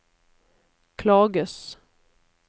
klages